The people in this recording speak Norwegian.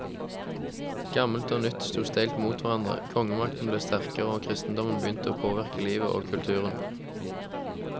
Gammelt og nytt sto steilt mot hverandre, kongemakten ble sterkere og kristendommen begynte å påvirke livet og kulturen.